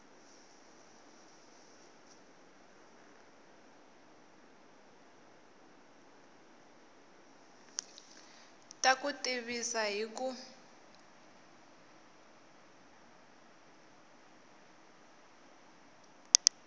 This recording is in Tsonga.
ta ku tivisa hi ku